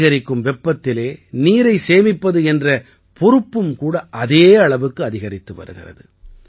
அதிகரிக்கும் வெப்பத்தில் நீரை சேமிப்பது என்ற பொறுப்பும் கூட அதே அளவுக்கு அதிகரித்து வருகிறது